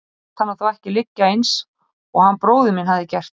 Ég lét hana þó ekki liggja eins og hann bróðir minn hafði gert.